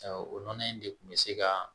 O nɔnɔ in de kun bɛ se ka